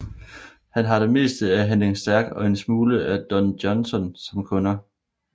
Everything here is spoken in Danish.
Han har det meste af Henning Stærk og en lille smule af Don Johnson som kunder